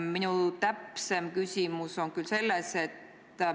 Minu täpsustav küsimus on aga see.